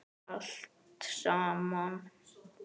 Allt saman.